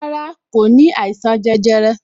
Rárá, kò ní àìsàn jẹjẹrẹ